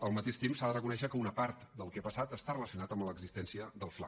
al mateix temps s’ha de reconèixer que una part del que ha passat està relacionat amb l’existència del fla